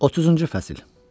30-cu fəsil.